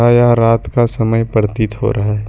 आया रात का समय प्रतीत हो रहा है ।